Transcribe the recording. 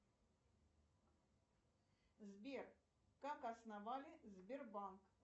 сбер как основали сбербанк